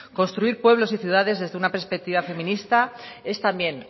construir pueblos y ciudades desde una perspectiva feminista es también